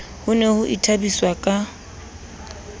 ho ne ho ithabiswa ka